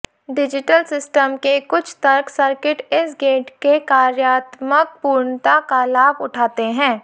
digital system के कुछ तर्क सर्किट इस गेट के कार्यात्मक पूर्णता का लाभ उठाते है